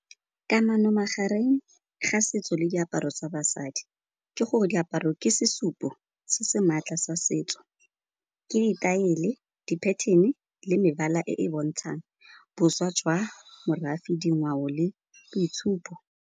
Kamano magareng ga setso le diaparo tsa basadi ke gore diaparo ke sesupo se se maatla sa setso, ke ditaele, di pattern le mebala e e bontshang boswa jwa morafe, dingwao le boitshupo.